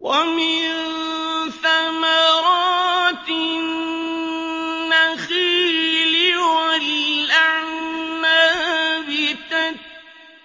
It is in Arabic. وَمِن ثَمَرَاتِ النَّخِيلِ وَالْأَعْنَابِ